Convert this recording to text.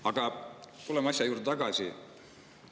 Aga tuleme asja juurde tagasi.